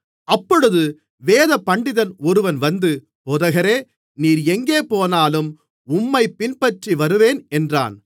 அப்பொழுது வேதபண்டிதன் ஒருவன் வந்து போதகரே நீர் எங்கே போனாலும் உம்மைப் பின்பற்றி வருவேன் என்றான்